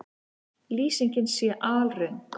Lýsingin sé alröng